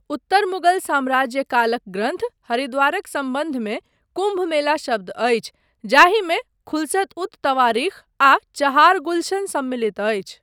उत्तर मुगल साम्राज्य कालक ग्रन्थ हरिद्वारक सम्बन्धमे कुम्भ मेला शब्द अछि जाहिमे खुलसत उत तवारीख आ चहार गुलशन सम्मलित अछि।